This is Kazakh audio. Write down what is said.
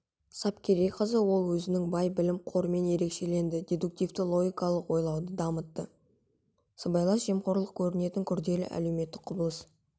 сапкерейқызы ол өзінің бай білім қорымен ерекшеленді дедуктивті логикалық ойлауды дамытты сыбайлас жемқорлық көрінетін күрделі әлеуметтік құбылыс